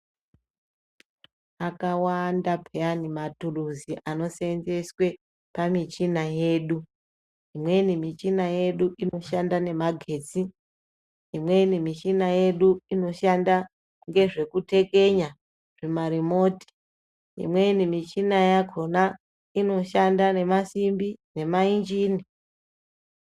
Akawanda peyani mathuruzi anosenzeswe pamichina yedu, imweni michina yedu inoshanda nemagetsi, imweni mishina yedu inoshanda ngezvekutekenya zvimarimoti, imweni michina yakhona inoshanda nemasimbi nemainjini.